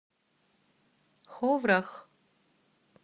ховрах